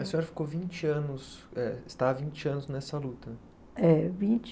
A senhora ficou vinte anos, eh está há vinte anos nessa luta. É, vinte